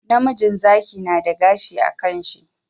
Namijin Zaki nada gashi a kan shi